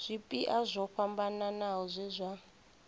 zwipia zwo fhambanaho zwe zwa